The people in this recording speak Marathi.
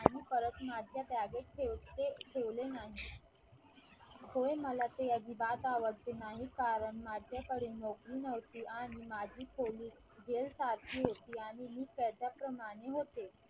आणि परत माझ्या बागेत ठेवते ठेवले नाही होय ते मला अजिबात आवडते नाही कारण माझ्याकडून नोकरी नव्हती आणि माझी खोली जेल सारखी होती आणि मी त्याच्या प्रमाणे होते